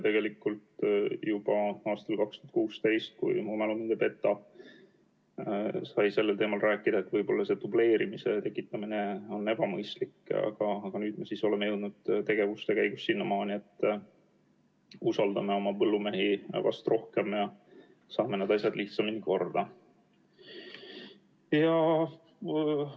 Tegelikult juba 2016. aastal, kui mu mälu mind ei peta, sai sellel teemal räägitud, nii et võib-olla see dubleerimise tekitamine oli ebamõistlik, aga nüüd me oleme jõudnud tegevuste käigus sinnamaani, et usaldame oma põllumehi vast rohkem ja saame need asjad lihtsamini korda.